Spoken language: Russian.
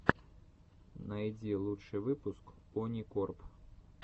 найди лучший выпуск оникорп